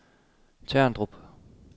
Terndrup